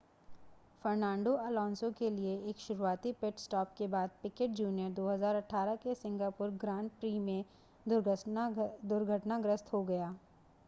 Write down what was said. Fernando Alonso के लिए एक शुरुआती पिट स्टॉप के बाद पिकेट जूनियर 2008 के सिंगापुर ग्रां प्री में दुर्घटनाग्रस्त हो गया